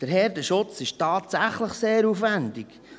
Der Herdenschutz ist tatsächlich sehr aufwendig.